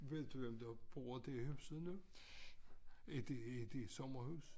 Ved du hvem der bor der i huset nu? Er det er det sommerhus?